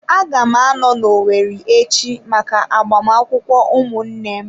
Agam ano n'Owerri echi maka agbamakwụkwọ ụmụnne m.